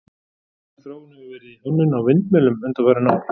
Mikil þróun hefur orðið í hönnun á vindmyllum undanfarin ár.